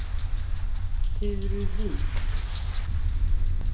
Furuvik